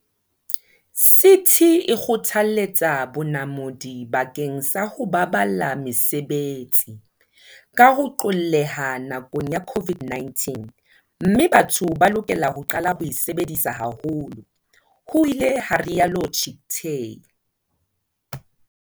CT e kgothaletsa bonamodi bakeng sa ho baballa mesebetsi, ka ho qolleha nakong ya COVID-19, mme batho ba lokela ho qala ho e sebedisa haholo, ho ile ha rialo Chicktay.